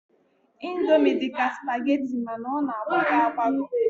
Indomi dị ka spageti mana ọ na-agbagọ agbagọ